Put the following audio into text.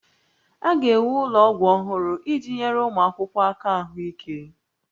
A ga-ewu ụlọ ọgwụ ọhụrụ iji nyere ụmụ akwụkwọ aka ahụike